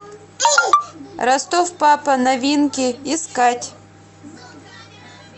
ростов папа новинки искать